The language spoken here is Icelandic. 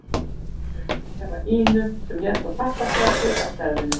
Lóa greip um hnefa Ínu sem hélt í pappaspjald af stærðinni